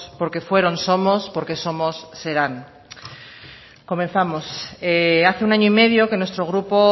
porque fueron somos porque somos serán comenzamos hace un año y medio que nuestro grupo